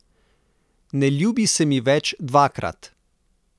Ne ljubi se mi več dvakrat.